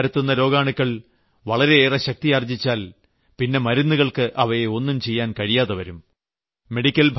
യും മലേറിയയും പരത്തുന്ന രോഗാണുക്കൾ വളരെയേറെ ശക്തിയാർജ്ജിച്ചാൽ പിന്നെ മരുന്നുകൾക്ക് അവയെ ഒന്നും ചെയ്യാൻ കഴിയാതെ വരും